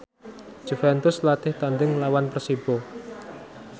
Juventus latih tandhing nglawan Persibo